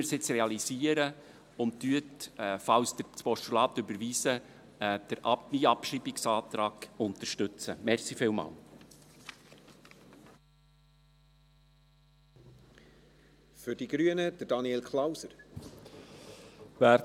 Lassen Sie es uns jetzt realisieren, und unterstützen Sie meinen Abschreibungsantrag, falls Sie das Postulat überweisen.